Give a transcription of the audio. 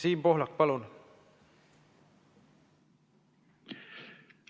Siim Pohlak, palun!